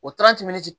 O